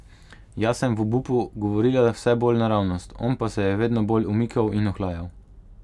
Jaz sem v obupu govorila vse bolj naravnost, on pa se je vedno bolj umikal in ohlajal.